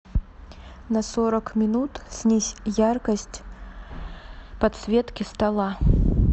на сорок минут снизь яркость подсветки стола